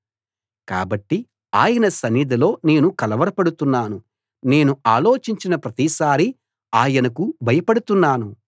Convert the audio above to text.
కాబట్టి ఆయన సన్నిధిలో నేను కలవరపడుతున్నాను నేను ఆలోచించిన ప్రతిసారీ ఆయనకు భయపడుతున్నాను